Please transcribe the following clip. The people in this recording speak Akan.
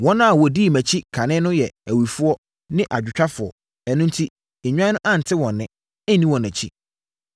Wɔn a wɔdii mʼanim kane no yɛ awifoɔ ne adwotwafoɔ, ɛno enti, nnwan no ante wɔn nne, anni wɔn akyi.